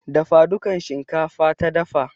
Dafa dukan shinkafa ta dafa.